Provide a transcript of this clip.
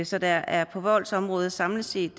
så der er på voldsområdet samlet set